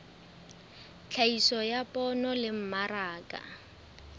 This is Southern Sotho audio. tlhahiso ya poone le mmaraka